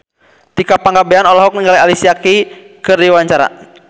Tika Pangabean olohok ningali Alicia Keys keur diwawancara